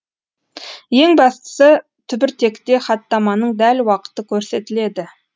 ең бастысы түбіртекте хаттаманың дәл уақыты көрсетіледі